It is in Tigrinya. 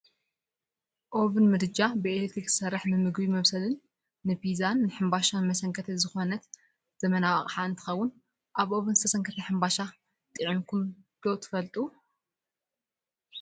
ኦቪን ምድጃ ብኤሌትሪክ ዝሰርሕ ንምግብ መብሰልን ንፒዛን ሕንባሻን መሰንከትን ዝኮነት ዘመናዊት ኣቅሓ እንትከውን ኣብ ኦቪን ዝተሰንከተ ሕንባሻ ጥዕምኩም ዶ ትፈልጡ ዶ?